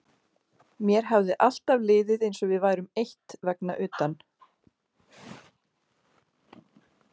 Mér hafði alltaf liðið eins og við værum eitt vegna utan